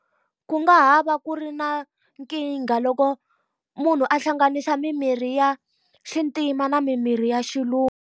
Ku nga ha va ku ri na nkingha loko munhu a hlanganisa mimirhi ya xintima na mimirhi ya xilungu.